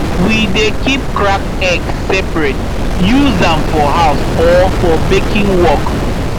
we dey keep cracked egg separate use am for house or for baking work